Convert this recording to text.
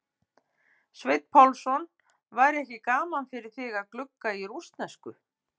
Sveinn Pálsson: væri ekki gaman fyrir þig að glugga í rússnesku?